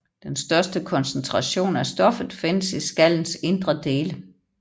Den største koncentration af stoffet findes i skallens indre dele